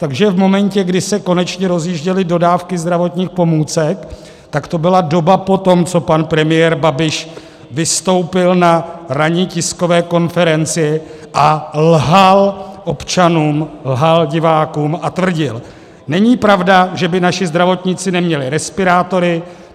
Takže v momentu, kdy se konečně rozjížděly dodávky zdravotních pomůcek, tak to byla doba po tom, co pan premiér Babiš vystoupil na ranní tiskové konferenci a lhal občanům, lhal divákům a tvrdil - není pravda, že by naši zdravotníci neměli respirátory.